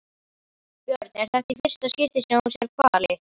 Björn: Er þetta í fyrsta skipti sem þú sérð hvali?